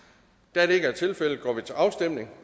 da det ikke er tilfældet går vi til afstemning